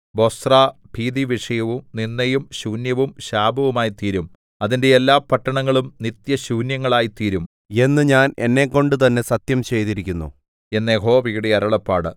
ബൊസ്രാ ഭീതിവിഷയവും നിന്ദയും ശൂന്യവും ശാപവുമായിത്തീരും അതിന്റെ എല്ലാ പട്ടണങ്ങളും നിത്യശൂന്യങ്ങളായിത്തീരും എന്ന് ഞാൻ എന്നെക്കൊണ്ട് തന്നെ സത്യം ചെയ്തിരിക്കുന്നു എന്ന് യഹോവയുടെ അരുളപ്പാട്